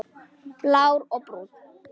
Blár og Brúnn.